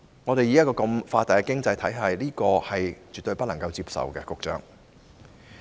局長，以我們這個發達經濟體而言，這是絕對不能接受的。